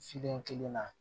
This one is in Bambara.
Filen kelen na